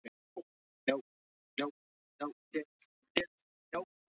Í Dómkirkjunni var beðið fyrir friði í morgunmessunni.